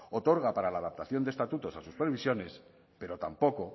otorga para la adaptación de estatutos a sus previsiones pero tampoco